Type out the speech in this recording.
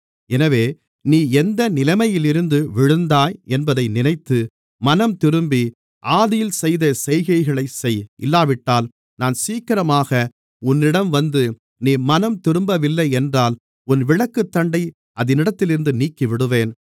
எனவே நீ எந்த நிலைமையில் இருந்து விழுந்தாய் என்பதை நினைத்து மனம்திரும்பி ஆதியில் செய்த செய்கைகளைச் செய் இல்லாவிட்டால் நான் சீக்கிரமாக உன்னிடம் வந்து நீ மனம்திரும்பவில்லை என்றால் உன் விளக்குத்தண்டை அதனிடத்திலிருந்து நீக்கிவிடுவேன்